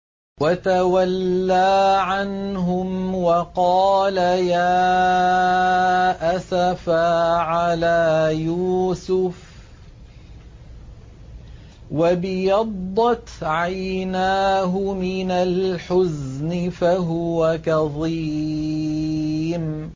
وَتَوَلَّىٰ عَنْهُمْ وَقَالَ يَا أَسَفَىٰ عَلَىٰ يُوسُفَ وَابْيَضَّتْ عَيْنَاهُ مِنَ الْحُزْنِ فَهُوَ كَظِيمٌ